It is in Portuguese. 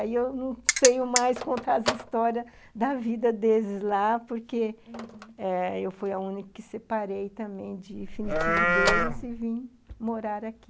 Aí eu não sei mais contar as histórias da vida deles lá, porque, uhum, eu fui a única que separei também de infinitivo deles e vim morar aqui.